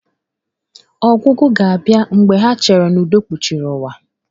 Ọgwụgwụ ga-abịa mgbe ha cheere n'udo kpuchiri ụwa.